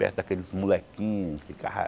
Perto daqueles molequinhos que ficavam...